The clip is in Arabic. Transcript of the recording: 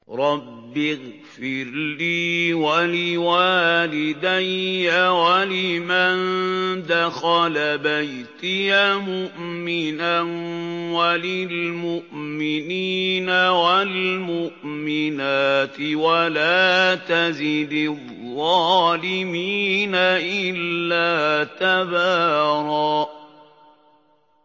رَّبِّ اغْفِرْ لِي وَلِوَالِدَيَّ وَلِمَن دَخَلَ بَيْتِيَ مُؤْمِنًا وَلِلْمُؤْمِنِينَ وَالْمُؤْمِنَاتِ وَلَا تَزِدِ الظَّالِمِينَ إِلَّا تَبَارًا